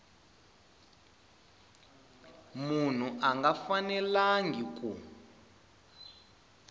munhu a nga fanelangi ku